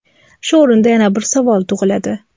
Shu o‘rinda yana bir savol tug‘iladi.